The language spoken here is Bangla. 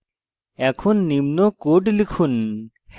এখন নিম্ন code লিখুন